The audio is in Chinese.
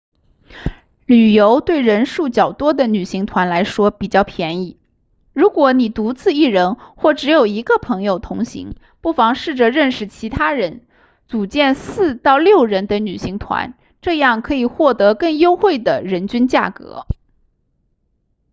旅游对人数较多的旅行团来说比较便宜如果你独自一人或只有一个朋友同行不妨试着认识其他人组建4到6人的旅行团这样可以获得更优惠的人均价格